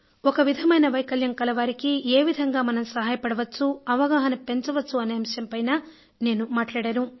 ఒక విధమైన వైకల్యం కలవారికి ఏ విధంగా మనం సహాయపడవచ్చు అవగాహన పెంచవచ్చు అనే అంశంపైన నేను మాట్లాడాను